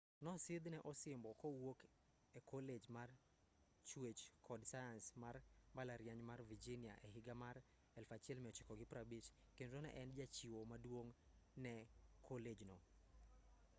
nosidhne osimbo kowuok e kolej mar chuech kod sayans mar mbalariany mar virginia e higa mar 1950 kendo ne en jachiwo maduong ne kolej no